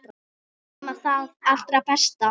Ekkert nema það allra besta.